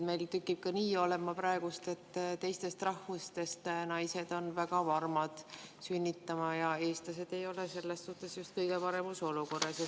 Meil tükib praegu olema nii, et teistest rahvustest naised on väga varmad sünnitama ja eestlased ei ole selles suhtes just kõige paremas olukorras.